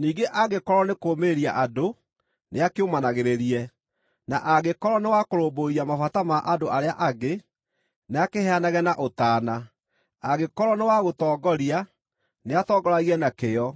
ningĩ angĩkorwo nĩ kũũmĩrĩria andũ, nĩakĩũmanagĩrĩrie; na angĩkorwo nĩ wa kũrũmbũiya mabata ma andũ arĩa angĩ, nĩakĩheanage na ũtaana; angĩkorwo nĩ wa gũtongoria, nĩatongoragie na kĩyo;